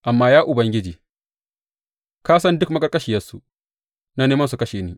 Amma Ya Ubangiji, ka san duk maƙarƙashiyarsu, na neman su kashe ni.